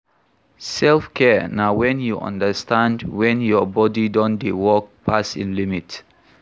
Selfcare na when you understand when your body don dey work pass im limit